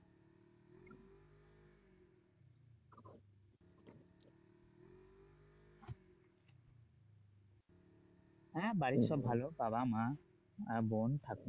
বাড়ির সবাই ভালো বাবা-মা আহ বোন